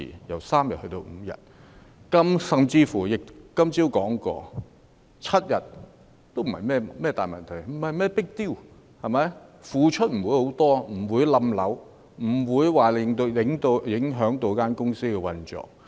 我今天早上甚至說過，即使增至7天也不是甚麼大問題 ，"not a big deal"， 付出的不會很多，亦不會影響公司的運作。